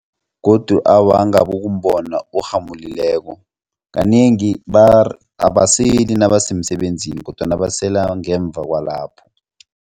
Godu awa angabukumbona orhamulileko kanengi abaseli nabasemsebenzini kodwana basela ngemva kwalapho.